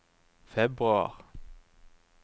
februar